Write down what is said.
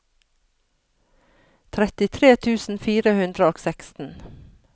trettitre tusen fire hundre og seksten